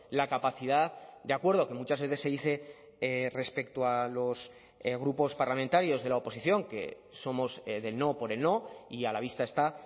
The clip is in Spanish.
la capacidad de acuerdo que muchas veces se dice respecto a los grupos parlamentarios de la oposición que somos del no por el no y a la vista está